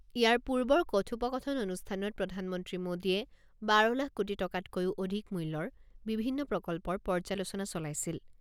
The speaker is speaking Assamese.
ইয়াৰ পূৰ্বৰ কথোপকথন অনুষ্ঠানত প্ৰধানমন্ত্ৰী মোদীয়ে বাৰ লাখ কোটি টকাতকৈও অধিক মূল্যৰ বিভিন্ন প্ৰকল্পৰ পৰ্যালোচনা চলাইছিল।